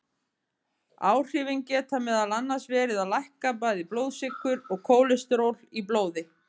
Áhrifin geta meðal annars verið að lækka bæði blóðsykur og kólesteról í blóði.